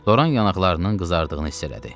Loran yanaqlarının qızardığını hiss elədi.